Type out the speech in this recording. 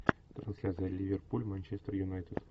трансляция ливерпуль манчестер юнайтед